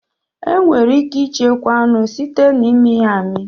Enwere ike ichekwa anụ site na imi ya amị.